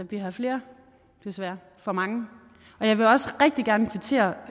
vi har flere desværre for mange jeg vil også rigtig gerne kvittere